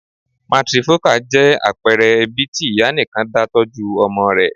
Matrifocal' jẹ́ àpẹẹre ẹbí tí ìyá nìkan dá tọ́jú ọmọ rẹ